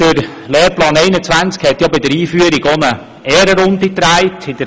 Der Lehrplan 21 hat ja bei der Einführung noch eine Ehrenrunde gedreht;